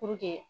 Puruke